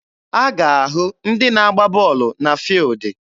A ga-ahụ ndị na agba bọọlụ na fuildi.